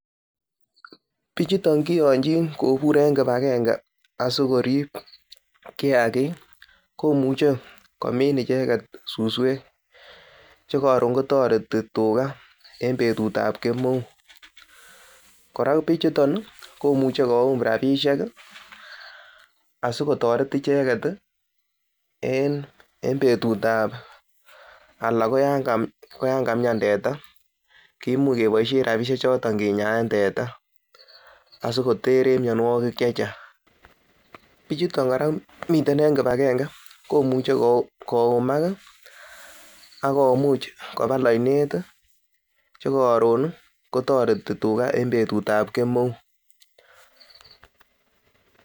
Bichuton keyonchin kobur en kipagenge asikorib kiyagik komuche komin icheget suswek che koron kotoreti tuga en betut ab kemeut, kora bichuton komuche koyum rabishek asikotoret icheget en betut ab, anan ko yan kamian teta kimuch keboishen rabinik choto kinyaen teta asikoter en mianwogik che chang. Bichuto kora miten en kipagenge komuche koyumak ak komuch kobal oinet che koron kotoreti tuga en betut ab kemeut